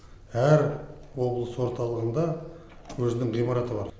әр облыс орталығында өзінің ғимараты бар